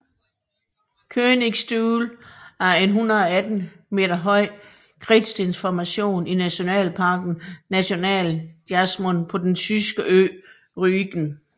Königsstuhl er en 118 meter høj kridtstensformation i nationalparken Nationalpark Jasmund på den Tyskland ø Rügen